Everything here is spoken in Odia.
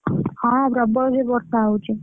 ହଁ ପ୍ରବଳ ଜୋରେ ବର୍ଷାହଉଛି।